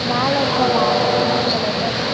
மேல இருக்க வானம் ப்ளூ கலர்ல இருக்கு.